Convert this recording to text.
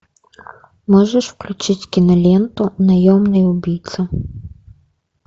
можешь включить киноленту наемный убийца